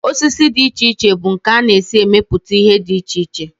Osisi dị iche iche bụ nke a na-esi emepụta ihe dị iche iche